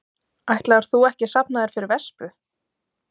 Ætlaðir þú ekki að safna þér fyrir vespu?